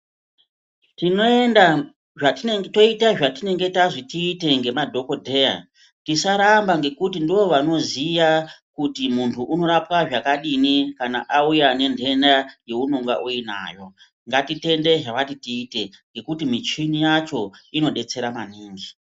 Tinoenda, toite zvatinenge tanzi tiite ngemadhogodheya. Tisarambe ngekuti ndovanoziya kuti muntu unorapwa zvakadini kana muntu auya nenhenda yeunonga uinayo. Ngatitende zvavati tiite ngekuti michini yacho inodetsera maningi.